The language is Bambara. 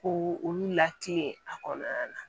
Ko olu lati a kɔnɔna na